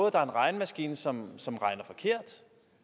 at der er en regnemaskine som som regner forkert